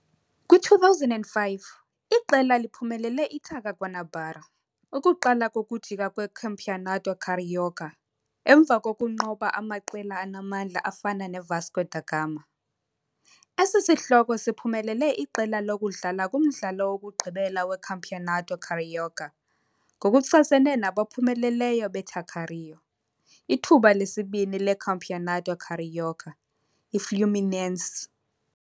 Kwi-2005, iqela liphumelele iTaça Guanabara, ukuqala kokujika kweCampeonato Carioca, emva kokunqoba amaqela anamandla afana neVasco da Gama. Esi sihloko siphumelele iqela lokudlala kumdlalo wokugqibela weCampeonato Carioca, ngokuchasene nabaphumeleleyo beTaça Rio, ithuba lesibini leCampeonato Carioca, iFluminense.